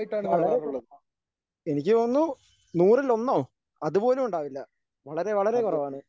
വളരെ കുറവാണ് എനിക്ക് തോന്നുന്നു നൂറിൽ ഒന്നോ അതുപോലും ഉണ്ടാവില്ല വളരെ വളരെ കുറവാണ്.